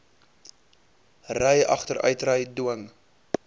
ry agteruitry dwing